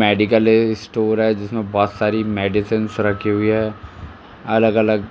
Medical store है जिसमे बहुत सारी मेडिसिन्स रखी हुई है। अलग-अलग